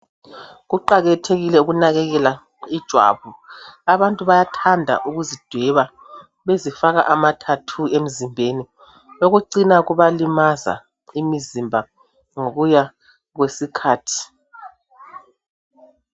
Kuqakathekile ukunakekela ijwabu abantu bayathanda ukuzidweba bezifaka ama "tattoo " emzimbeni okucina kubalimaza imizimba ngokuya kwesikhathi .